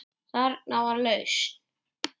Þarna var lausn.